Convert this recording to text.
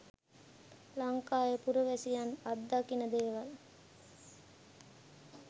ලංකාවේ පුරවැසියන් අත්දකින දේවල්ය.